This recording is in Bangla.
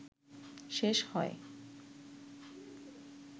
শেষ হয়